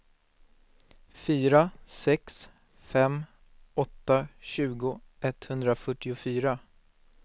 fyra sex fem åtta tjugo etthundrafyrtiofyra